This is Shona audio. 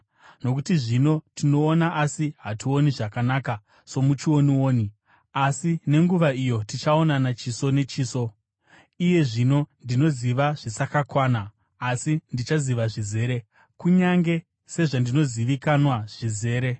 Nokuti zvino tinoona asi hationi zvakanaka somuchionioni; asi nenguva iyo tichaonana chiso nechiso. Iye zvino ndinoziva zvisakakwana; asi ndichaziva zvizere, kunyange sezvandinozivikanwa zvizere.